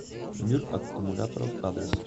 мир аккумуляторов адрес